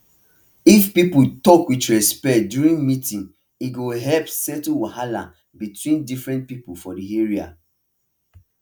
if people talk with respect during meeting e go help settle wahala between different people for the area